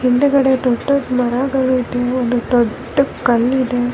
ಹಿಂದೆಗಡೆ ದೊಡ್ಡ್ ದೊಡ್ಡ್ ಮರಗಳು ಇದೆ ಒಂದು ದೊಡ್ಡ ಕಲ್ಲ್ ಇದೆ .